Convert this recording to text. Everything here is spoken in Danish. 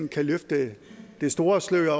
kan løfte det store slør